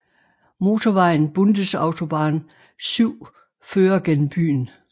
Motorvejen Bundesautobahn 7 fører gennem byen